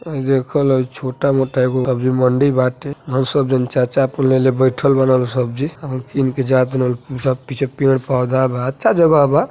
हई देख लोग छोटा मोटा एगो सब्जी मंडी बाटे। बहुत सब जन चाचा आपन लेले बइठल बान लोग सब्जी और किन के जात बा पीछा पीछे पेड़ पौधा बा अच्छा जगह बा।